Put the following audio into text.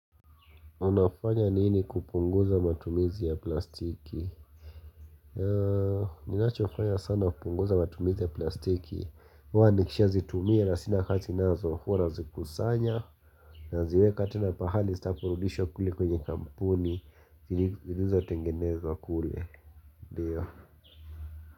Unafanya nini kupunguza matumizi ya plastiki Ninachofanya sana kupunguza matumizi ya plastiki huwa nikisha zitumia na sina hati nazo huwa naziikusanya naziweka tena pahali zitaporudishwa kule kwenye kampuni zilizo tengenezwa kule ndio.